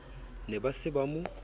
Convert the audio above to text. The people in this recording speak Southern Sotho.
ne ba se ba mo